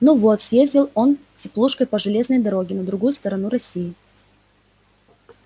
ну вот съездил он теплушкой по железной дороге на другую сторону россии